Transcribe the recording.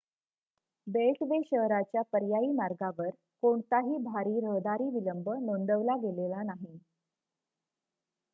beltway शहराच्या पर्यायी मार्गावर कोणताही भारी रहदारी विलंब नोंदविला गेला नाही